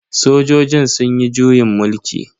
Sojojin sunyi juyin mulki.